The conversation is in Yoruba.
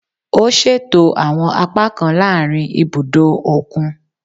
O ṣeto awọn apakan laarin ibudo okun